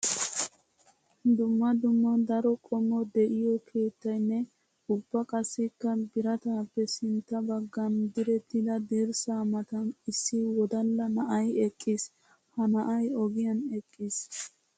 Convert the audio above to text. Dumma dumma daro qommo de'iyo keettayinne ubba qassikka biratappe sintta bagan direttidda dirssa matan issi wodalla na'ay eqqiis. Ha na'ay ogiyan eqqiis.